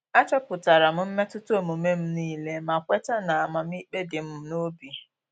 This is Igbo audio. Achọpụtara m mmetụta omume m nile ma kweta na amamikpe di m n'obi